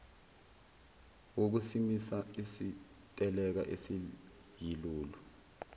wokusimisa isiteleka esiyilolu